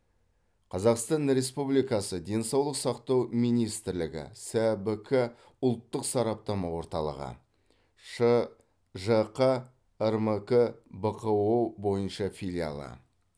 қазақстан республикасы денсаулық сақтау министрлігі сэбк ұлттық сараптама орталығы шжқ рмк бқо бойынша филиалы